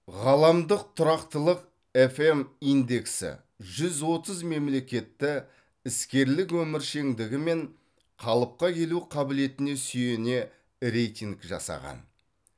ғаламдық тұрақтылық фм индексі жүз отыз мемлекетті іскерлік өміршеңдігі мен қалыпқа келу қабілетіне сүйене рейтинг жасаған